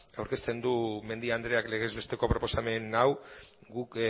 aurkezten du mendia andreak legezbesteko proposamen hau guk